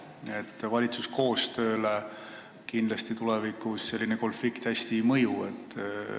Valitsuse edasisele koostööle kindlasti selline konflikt hästi ei mõju.